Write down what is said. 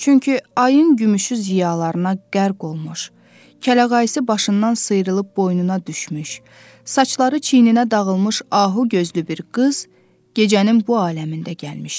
Çünki ayın gümüşü ziyalarına qərq olmuş, kələğayısı başından sıyrılıb boynuna düşmüş, saçları çiyninə dağılmış ahu gözlü bir qız gecənin bu aləmində gəlmişdi.